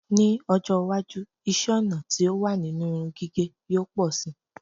Ní́ ọjọ́ iwájú, iṣẹ́-ọnà tí ó wà nínú irun gígẹ̀ yóò pọ̀ síi.